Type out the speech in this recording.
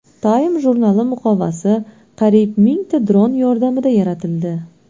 Time jurnali muqovasi qariyb mingta dron yordamida yaratildi .